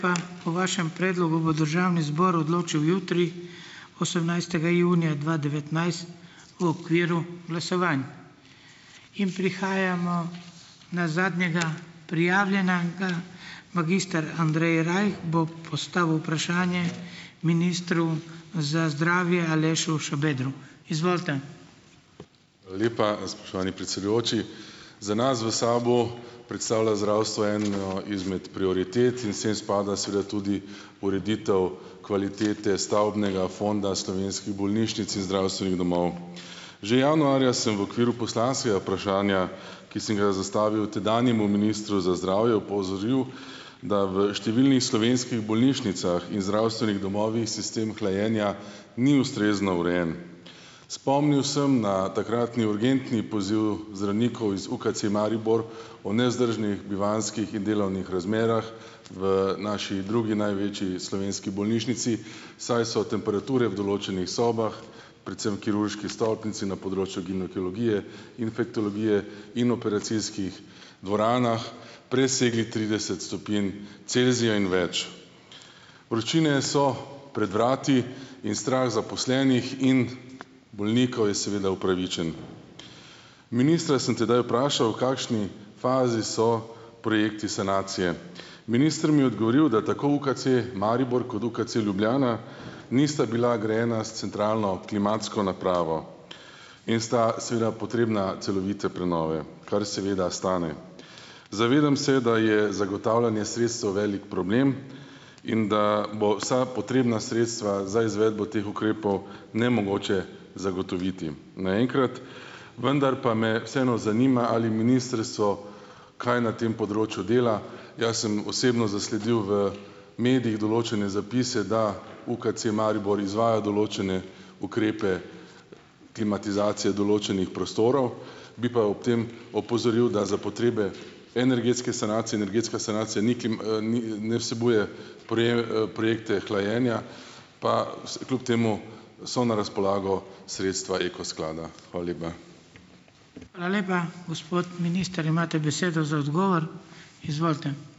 Po vašem predlogu bo državni zbor odločil jutri, osemnajstega junija dva devetnajst v okviru glasovanj. In prihajamo na zadnjega prijavljenega, magister Andrej Rajh bo postavil vprašanje ministru za zdravje, Alešu Šabedru. Izvolite. Hvala lepa, spoštovani predsedujoči. Za vas, v SAB-u, predstavlja zdravstvo eno izmed prioritet in sem spada seveda tudi ureditev kvalitete stavbnega fonda slovenskih bolnišnic in zdravstvenih domov. Že januarja sem v okviru poslanskega vprašanja, ki sem ga zastavil tedanjemu ministru za zdravje, opozoril, da v številnih slovenskih bolnišnicah in zdravstvenih domovih, sistem hlajenja ni ustrezno urejen. Spomnil sem na takratni urgentni poziv zdravnikov iz UKC Maribor, o nevzdržnih bivanjskih in delovnih razmerah v naši drugi največji slovenski bolnišnici, saj so temperature v določenih sobah, predvsem kirurški stolpnici na področju ginekologije, infektologije in operacijskih dvoranah presegle trideset stopinj Celzija in več. Vročine so pred vrati in strah zaposlenih in bolnikov je seveda upravičen. Ministra sem tedaj vprašal, kakšni fazi so projekti sanacije. Minister mi je odgovoril, da tako UKC Maribor kot UKC Ljubljana nista bila grajena s centralno klimatsko napravo. In sta seveda potrebna celovite prenove. Kar seveda stane. Zavedam se, da je zagotavljanje sredstev velik problem in da bo vsa potrebna sredstva za izvedbo teh ukrepov nemogoče zagotoviti naenkrat. Vendar pa me vseeno zanima, ali ministrstvo kaj na tem področju dela. Jaz sem osebno zasledil v medijih določene zapise, da UKC Maribor izvaja določne ukrepe klimatizacije določenih prostorov, bi pa ob tem opozoril, da za potrebe energetske sanacije. Energetska sanacija ni ni, ne vsebuje projekte hlajenja, pa kljub temu so na razpolago sredstva Eko sklada. Hvala lepa. Hvala lepa. Gospod minister, imate besedo za odgovor. Izvolite.